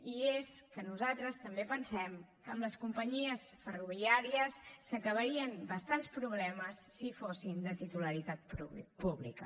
i és que nosaltres també pensem que amb les companyies ferroviàries s’acabarien bastants problemes si fossin de titularitat pública